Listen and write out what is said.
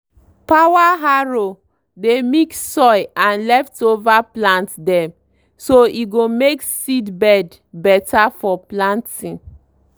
power harrow dey mix soil and leftover plant dem so e go make seedbed better for planting.